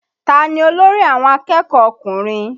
Tani olórí àwọn akẹ́kọ̀ọ́ ọkùnrin?